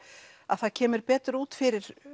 að það kemur betur út fyrir